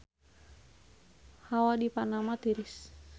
Hawa di Panama tiris